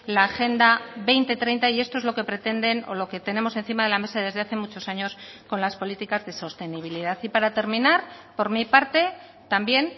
la agenda dos mil treinta y esto es lo que pretenden o lo que tenemos encima de la mesa desde hace muchos años con las políticas de sostenibilidad y para terminar por mi parte también